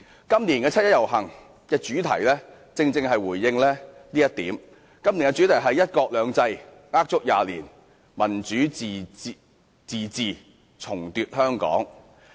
今年七一遊行的主題正正是要回應這一點——今年的主題是："一國兩制呃足廿年；民主自治重奪香港"。